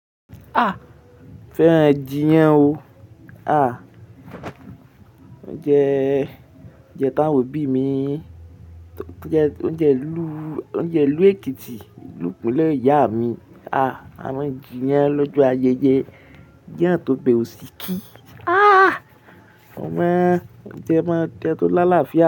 Ah! Fẹ́ràn ẹ́jí yẹn o. Ah! Oúnjẹ, oúnjẹ tá ń wò bí mi, oúnjẹ, oúnjẹ ìlú, oúnjẹ ìlú Èkìtì, ìlú ìpínlẹ̀ ìyá mi. Ah! A mọ ẹ́jí yẹn lọ́jọ́ ayẹyẹ. Iyan atobe òsì kí. Ah! Ọmọ, oúnjẹ máa ń jẹ tó láàlá fiya.